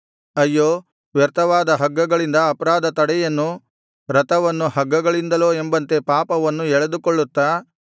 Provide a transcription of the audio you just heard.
ಅಯ್ಯೋ ವ್ಯರ್ಥವಾದ ಹಗ್ಗಗಳಿಂದ ಅಪರಾಧ ದಂಡನೆಯನ್ನು ರಥವನ್ನು ಹಗ್ಗಗಳಿಂದಲೋ ಎಂಬಂತೆ ಪಾಪವನ್ನು ಎಳೆದುಕೊಳ್ಳುತ್ತಾ